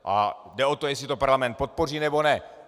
A jde o to, jestli to parlament podpoří, nebo ne.